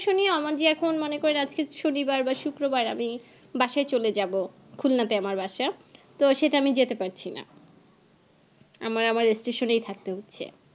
শনি আমার যে এখন মানে আজকে শুক্রবার বা শনিবার আমি বাসায় চলে যাবো খুলনা তে আমার বাসা তো সেটা আমি যেতে পারছি না আবার আমায় station এই থাকতে হচ্ছে